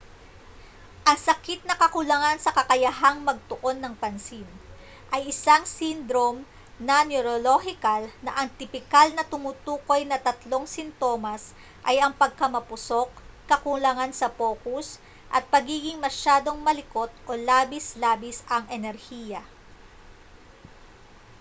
ang sakit na kakulangan sa kakayahang magtuon ng pansin ay isang syndrome na neorolohikal na ang tipikal na tumutukoy na tatlong sintomas ay ang pagkamapusok kakulangan sa pokus at pagiging masyadong malikot o labis-labis ang enerhiya